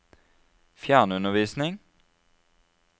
fjernundervisning